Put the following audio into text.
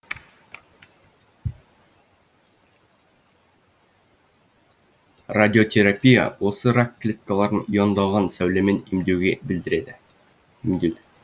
радиотерапия осы рак клеткаларын иондалған сәулемен емдеуге білдіреді